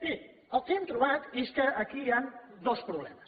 miri el que hem trobat és que aquí hi han dos problemes